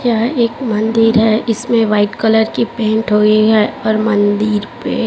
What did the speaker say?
यह एक मंदिर है इसमें व्हाइट कलर की पेंट हुई है और मंदिर पे--